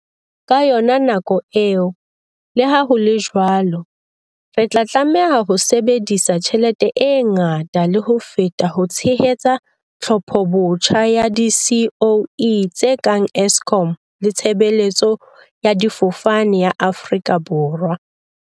Ka yona nako eo, leha ho le jwalo, re tla tlameha ho sebedisa tjhelete e ngata le ho feta ho tshehetsa tlhophobotjha ya di-SOE tse kang Eskom le Tshebeletso ya Difofane ya Aforika Borwa, SAA.